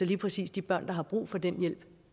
lige præcis de børn der har brug for den hjælp